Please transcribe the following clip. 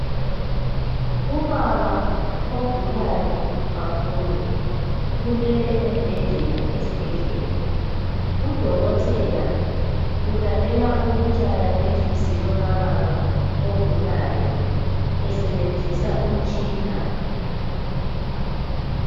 Ubaba ogulayo kakhulu ulele embhedeni esibhedlela, udokotela ulalela ukutshaya kwenhliziyo kababa ogulayo esebenzisa umutshina.